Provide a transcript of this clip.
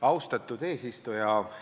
Austatud eesistuja!